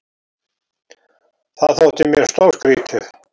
Það þótti mér stórskrítið.